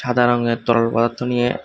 সাদা রঙের তরল পদার্থ নিয়ে।